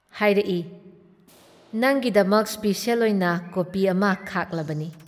ꯍꯥꯏꯔꯛꯏ - "ꯅꯪꯒꯤꯗꯃꯛ ꯁ꯭ꯄꯦꯁꯦꯜ ꯑꯣꯏꯅ ꯀꯣꯄꯤ ꯑꯃ ꯈꯥꯛꯂꯕꯅꯤ ꯫